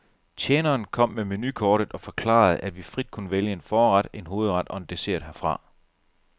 Tjeneren kom med menukortet og forklarede, at vi frit kunne vælge en forret, en hovedret og en dessert herfra.